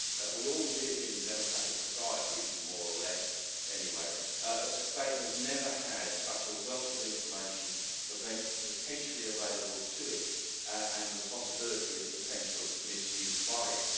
We all live in democratic societies more or less, anyway but the state has never had such a wealth of information potentially available to it and the possibility of potential misuse by it.